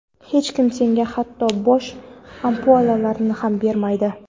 hech kim senga hatto bo‘sh ampulalarni ham bermaydi.